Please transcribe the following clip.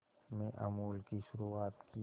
में अमूल की शुरुआत की